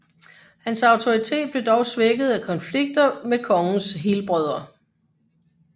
Hans autoritet blev dog svækket af konflikter med kongens helbrødre